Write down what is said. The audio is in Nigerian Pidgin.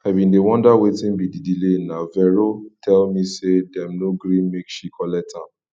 i bin dey wonder wetin be the delay na vero tell me say dem no gree make she collect am